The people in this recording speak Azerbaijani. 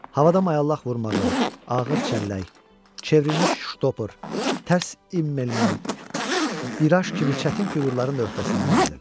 Havada mayallaq vurmağı, ağır çəllək, çevrilmiş ştopor, tərsimmelman, biraj kimi çətin fiqurların da öhdəsindən gəlirdi.